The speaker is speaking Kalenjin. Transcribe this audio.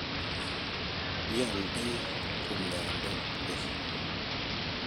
ioldei kumyande wei?